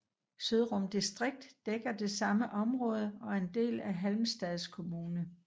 Søndrum distrikt dækker det samme område og er en del af Halmstads kommun